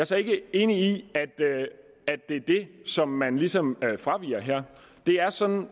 så ikke enig i at det er det som man ligesom fraviger her det er sådan